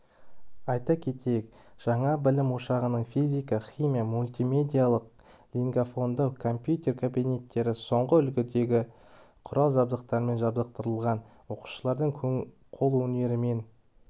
айта кетейік жаңа білім ошағының физика химия мультимедиялық-лингафонды компьютер кабинеттері соңғы үлгідегі құрал-жабдықтармен жарақтандырылған оқушылардың қолөнермен